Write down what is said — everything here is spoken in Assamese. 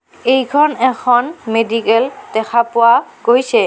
এইখন এখন মেডিকেল দেখা পোৱা গৈছে।